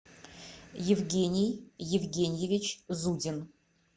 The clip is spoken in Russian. евгений евгеньевич зудин